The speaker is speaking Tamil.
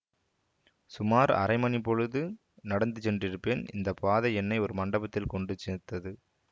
சுமார் அரை மணிப் பொழுது நடந்து சென்றிருப்பேன் இந்த பாதை என்னை ஒரு மண்டபத்தில் கொண்டு சேர்த்தது